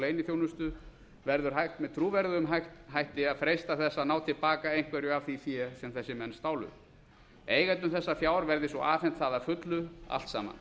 leyniþjónustu verður hægt með trúverðugum hætti að freista þess að ná til baka einhverju af því fé sem þessir menn stálu eigendum þessa fjár verði svo afhent það að fullu allt saman